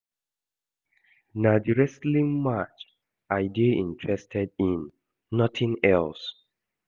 Na the wrestling match I dey interested in nothing else